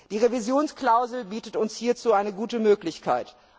Die Revisionsklausel bietet uns hierzu eine gute Möglichkeit.